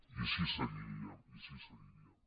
i així seguiríem i així seguiríem